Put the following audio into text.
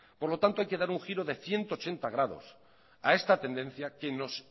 por lo tanto hay que dar un giro de ciento ochenta grados a esta tendencia que nos